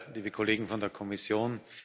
liebe Kollegen von der Kommission!